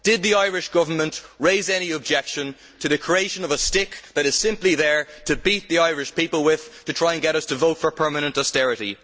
Did the Irish Government raise any objection to the creation of a stick that is simply there to beat the Irish people with, to try and get us to vote for permanent austerity?